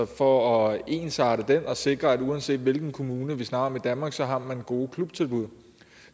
for at ensarte den og sikre at uanset hvilken kommune vi snakker om i danmark har man gode klubtilbud